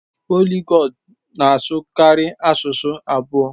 Poliglọt na-asụ karịa asụsụ abụọ.